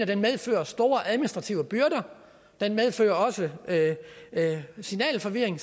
det medfører store administrative byrder det medfører også signalforvirring